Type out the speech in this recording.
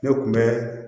Ne kun bɛ